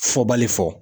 Fɔbali fɔ